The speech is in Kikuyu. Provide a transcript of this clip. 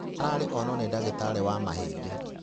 Araĩrirwo onwo nĩ ndagitarĩ wa mahĩndĩ.